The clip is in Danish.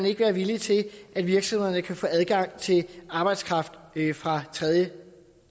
ikke være villig til at virksomhederne kan få adgang til arbejdskraft fra tredjelande